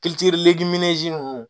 ninnu